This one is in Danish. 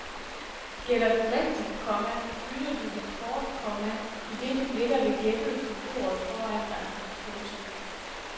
Gætter du rigtigt, komma bytter du dit kort, komma idet du lægger det gættede på bordet foran dig. punktum